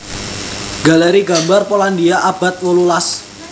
Galeri gambar Polandia abad wolulas